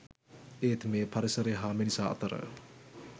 ඒත් මෙය පරිසරය හා මිනිසා අතර